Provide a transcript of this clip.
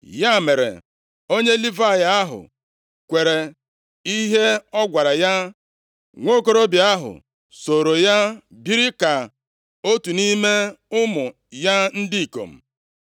Ya mere, onye Livayị ahụ kwere nʼihe ọ gwara ya, nwokorobịa ahụ sooro ya biri ka otu nʼime ụmụ ya ndị ikom.